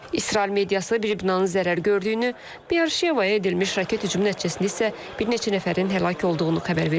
İsrail mediası bir binanın zərər gördüyünü, Beer-Şevaya edilmiş raket hücumu nəticəsində isə bir neçə nəfərin həlak olduğunu xəbər verib.